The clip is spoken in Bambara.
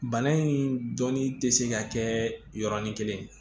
Bana in dɔnni tɛ se ka kɛ yɔrɔnin kelen